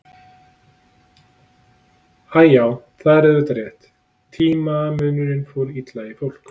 Æ, já, það var auðvitað líka rétt, tímamunurinn fór illa í fólk.